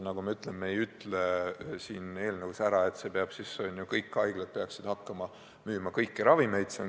Kordan, et me ei ütle siin eelnõus, et kõik haiglad peaksid hakkama müüma kõiki ravimeid.